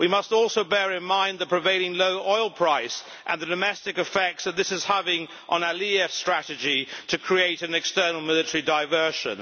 We must also bear in mind the prevailing low oil price and the domestic effects that this is having on Aliyev's strategy to create an external military diversion.